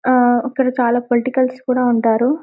ఆహ్ అక్కడ చాల పొలిటికల్స్ కూడా ఉంటారు.